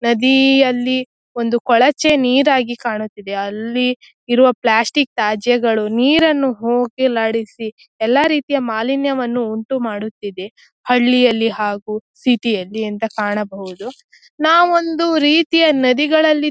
ನದೀ ಅಲ್ಲಿ ಒಂದು ಕೊಳಚೆ ನೀರಾಗಿ ಕಾಣುತ್ತಿದ್ದೆ ಅಲ್ಲಿ ಇರುವ ಪ್ಲಾಸ್ಟಿಕ್ ತ್ಯಾಜ್ಯಗಳು ನೀರನ್ನು ಹೋಗಲಾಡಿಸಿ ಎಲ್ಲ ರೀತಿಯ ಮಾಲಿನ್ಯವನ್ನು ಉಂಟುಮಾಡುತ್ತಿದ್ದೆ ಹಳ್ಳಿಯಲ್ಲಿ ಹಾಗು ಸಿಟಿ ಯಲ್ಲಿ ಅಂತ ಕಾಣಬಹುದು ನಾವು ಒಂದು ರೀತಿಯ ನದಿಗಳಲ್ಲಿ --